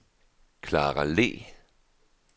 Klara Le